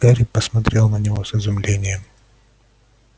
гарри посмотрел на него с изумлением